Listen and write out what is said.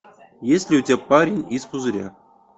есть ли у тебя парень из пузыря